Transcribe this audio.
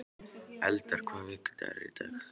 Eldar, hvaða vikudagur er í dag?